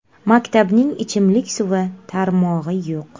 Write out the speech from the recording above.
Maktabning ichimlik suvi tarmog‘i yo‘q.